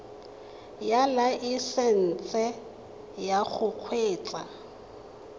ya laesesnse ya go kgweetsa